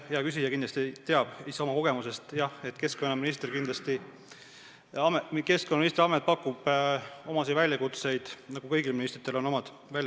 Jaa, hea küsija kindlasti teab ise oma kogemusest, et keskkonnaministri amet pakub teatud väljakutseid, nagu kõikidel ministritel on omad.